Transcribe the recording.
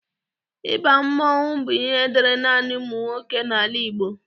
Ịba mmọnwụ bụ ihe dịịrị naanị ụmụ nwoke n'ala Igbo.